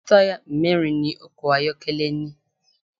Táyà mẹ́rin ni ọkọ̀ ayọ́kẹ́lẹ́ ní.